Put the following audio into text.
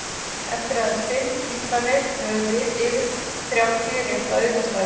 Eftir aðeins fimm ítranir höfum við yfir þrjátíu rétta aukastafi!